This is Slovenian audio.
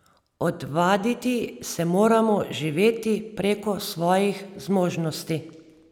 Odvaditi se moramo živeti preko svojih zmožnosti.